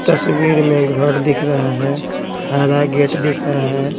तस्वीर में घर दिख रहा हैं हरा गेट दिख रहा हैं।